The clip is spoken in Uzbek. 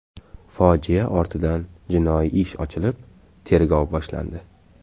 Fojia ortidan jinoiy ish ochilib, tergov boshlandi.